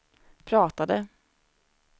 pratade